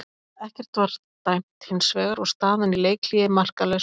Ekkert var dæmt hins vegar og staðan í leikhléi markalaus.